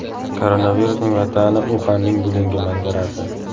Koronavirusning vatani Uxanning bugungi manzarasi .